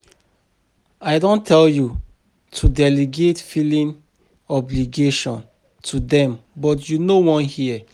I don tell you to delegate filing obligation to dem but you no wan hear